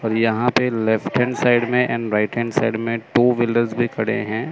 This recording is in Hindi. और यहां पे लेफ्ट हैंड साइड में एंड राइट हैंड साइड में टू व्हीलर्स भी खड़े है।